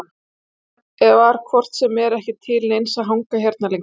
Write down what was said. Það var hvort sem er ekki til neins að hanga hérna lengur.